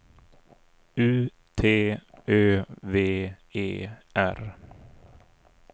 U T Ö V E R